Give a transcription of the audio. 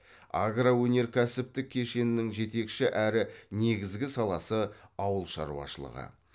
агроөнеркәсіптік кешеннің жетекші әрі негізгі саласы ауыл шаруашылығы